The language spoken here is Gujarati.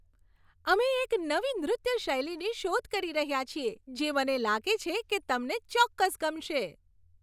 અમે એક નવી નૃત્ય શૈલીની શોધ કરી રહ્યાં છીએ જે મને લાગે છે કે તમને ચોક્કસ ગમશે.